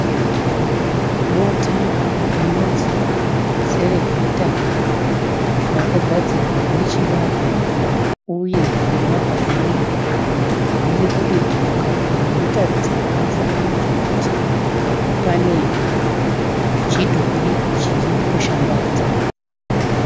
Bota rinonzi Cerevita rakagadzirwa nechibagwe uye nemabhanana. Riri kudirwa mukaka rinotaridza pamufananinidzo kuti pane chidhori chiri kushambadza.